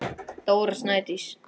Dóra Snædís.